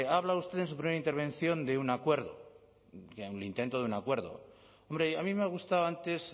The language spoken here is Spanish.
ha hablado usted en su primera intervención de un acuerdo el intento de un acuerdo hombre a mí me ha gustado antes